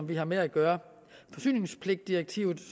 vi har med at gøre forsyningspligtdirektivet